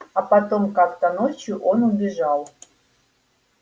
а потом как то ночью он убежал